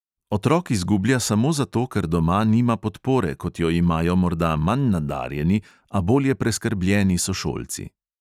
Otrok izgublja samo zato, ker doma nima podpore, kot jo imajo morda manj nadarjeni, a bolje preskrbljeni sošolci.